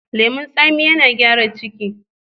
Leman tsami yana gyara ciki.